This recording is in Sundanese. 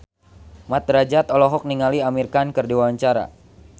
Mat Drajat olohok ningali Amir Khan keur diwawancara